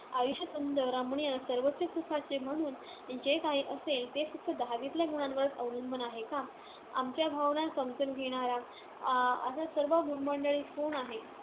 आयुष्यात सुंदर, रमणीय, सर्वोच्च सुखाचे म्हणून जे काही असेल, ते फक्त दहावीतल्या गुणांवरच अवलंबून आहे का? आमच्या भावना समजून घेणारा अं असा सर्व भूमंडळी कोण आहे?